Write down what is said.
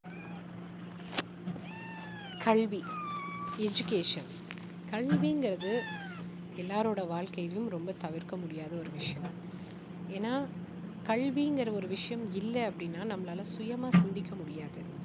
கல்வி education கல்விங்கறது எல்லோருடைய வாழ்க்கையிலும் ரொம்ப தவிர்க்க முடியாத ஒரு விஷயம் ஏன்னா கல்விங்கிற ஒரு விஷயம் இல்ல அப்படின்னா நம்மளால சுயமா சிந்திக்க முடியாது